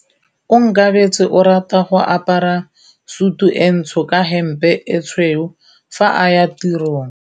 Onkabetse o rata go apara sutu e ntsho ka hempe e tshweu fa a ya tirong.